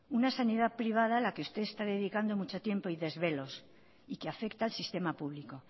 una sanidad privada a la que usted está dedicando mucho tiempo y desvelos y que afecta al sistema público